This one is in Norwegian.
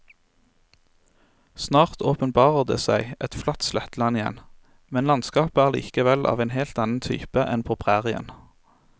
Snart åpenbarer det seg et flatt sletteland igjen, men landskapet er likevel av en helt annen type enn på prærien.